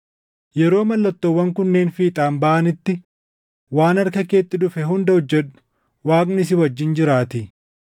Yeroo mallattoowwan kunneen fiixaan baʼanitti waan harka keetti dhufe hunda hojjedhu; Waaqni si wajjin jiraatii.